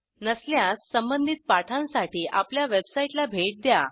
नसल्यास संबधित पाठांसाठी आपल्या वेबसाईटला भेट द्या